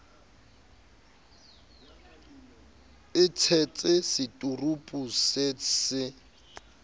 e tshetse seturupu se se